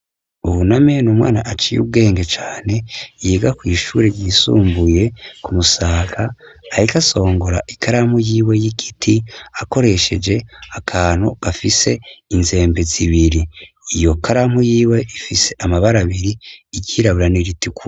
Buname numwana aciye ubwenge cane , yiga kwishure ryisumbuye ku musaga, ariko asongora ikaramu yiwe yigiti , akoresheje akantu gafise inzembe zibiri. Iyo karamu yiwe ifise amabara abiri , iryitabura niritukura.